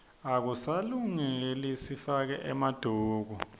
akusasilungeli sifake emaduku